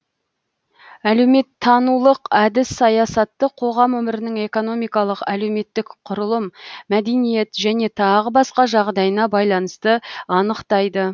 әлеуметтанулық әдіс саясатты қоғам өмірінің экономикалық әлеуметтік құрылым мәдениет және тағы басқа жағдайына байланысты анықтайды